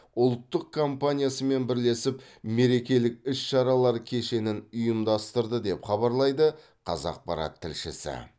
ұлттық компаниясымен бірлесіп мерекелік іс шаралар кешенін ұйымдастырды деп хабарлайды қазақпарат тілшісі